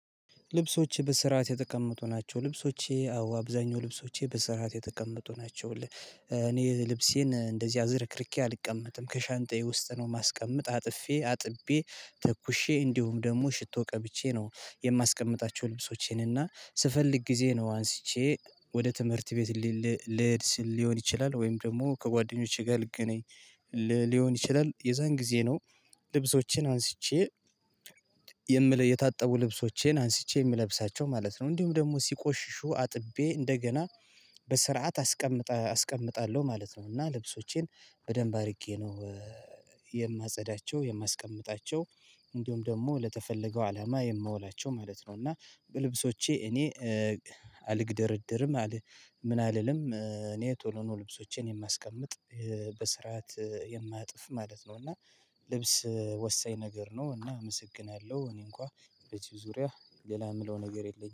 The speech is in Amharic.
ልብሶችህ በስርዓት የተቀመጡ ናቸው ልብሶቼ አዎ አብዛኛው ልብሶቼ በስርዓት የተቀመጡ ናቸው። እኔ ልብሴን እንደዚህ አዘርክርኬ አልቀመጥም ከሻንጣዬ ውስጥ ነው የማስቀምጥ አጥፌ አጥቤ ተኩሼ እንዲሁም ደግሞ ሽቶ ቀብቼ ነው የማስቀምጣቸው ልብሶቼን እና ስፈልግ ግዜ ነው አንስቼ ወደ ትምህርት ቤት ልሄድ ስል ሊሆን ይችላል ወይም ደግሞ ከጓደኞቼ ጋር ልገናኝ ሊሆን ይችላል የዛን ግዜ ነው። ልብሶቼን አንስቼ የምለይ የታጠቡ ልብሶቼን አንስቼ የምለብሳቸው ማለት ነው። እንዲሁም ደግሞ ሲቆሽሹ አጥቤ እንደገና በስርዓት አስቀም አስቀምጣለው ማለት ነው። እና ልብሶቼን በደንብ አድርጌ ነው የማጸዳቸው የማስቀምጣቸው እንዲሁም ደግሞ ለተፈለገው አላማ የማውላቸው ማለት ነው። እና በልብሶቼ እኔ አልገደረደርም ምን አልልም እኔ ጥሩ ነው ልብሶቼን የማስቀምጥ በስርዓት የማጥፍ ማለት ነው። እና ልብስ ወሳኝ ነገር ነው አመሰግናለሁ በዚህ ዙርያ ሌላ የምለው ነገር የለኝም